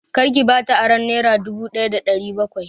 Kar ki bata aron nera dubu daya da ɗari bakwai!